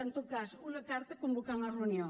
en tot cas una carta convocant la reunió